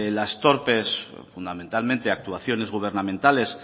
las torpes fundamentalmente actuaciones gubernamentales